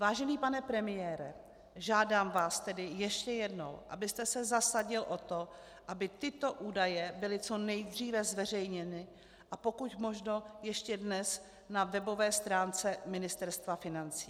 Vážený pane premiére, žádám vás tedy ještě jednou, abyste se zasadil o to, aby tyto údaje byly co nejdříve zveřejněny, a pokud možno ještě dnes, na webové stránce Ministerstva financí.